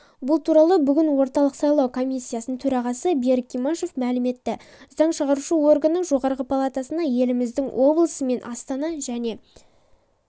бұл туралы бүгін орталық сайлау комиссиясының төрағасы берік имашев мәлім етті заң шығарушы органның жоғарғы палатасына еліміздің облысы мен астана және